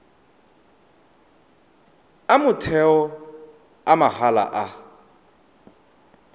a motheo a mahala a